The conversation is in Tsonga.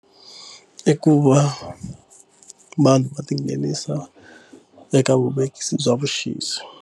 I ku va vanhu va tinghenisa eka vuvekisi bya vuxisi.